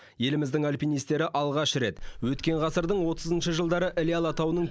еліміздің альпинистері алғаш рет өткен ғасырдың отызыншы жылдары іле алатауының